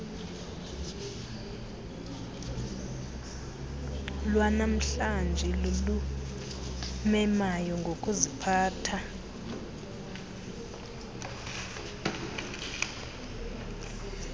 lwanamhlanje lulumemayo ngokuziphatha